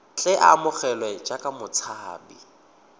tle a amogelwe jaaka motshabi